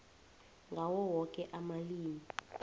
ngawo woke amalimi